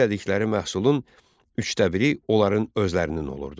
Əldə elədikləri məhsulun üçdə biri onların özlərinin olurdu.